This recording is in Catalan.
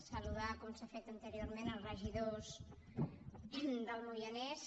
saludar com s’ha fet anteriorment els regidors del moianès